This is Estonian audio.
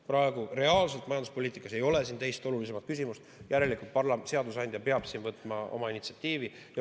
Praegu ei ole reaalselt majanduspoliitikas teist olulisemat küsimust, järelikult peab seadusandja võtma initsiatiivi.